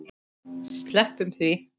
Sleppum því.